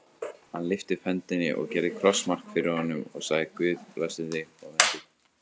Hann lyfti upp hendi og gerði krossmark fyrir honum og sagði:-Guð blessi þig og verndi.